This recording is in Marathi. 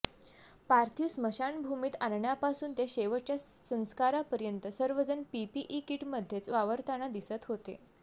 पार्थिव स्मशानभूमीत आणण्यापासून ते शेवटच्या संस्कारापर्यंत सर्वजण पीपीई किटमध्येच वावरताना दिसत होते